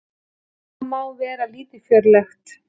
Það má vera lítilfjörlegt.